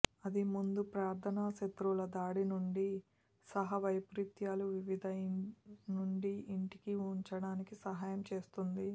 అది ముందు ప్రార్థన శత్రువుల దాడి నుండి సహా వైపరీత్యాలు వివిధ నుండి ఇంటికి ఉంచడానికి సహాయం చేస్తుంది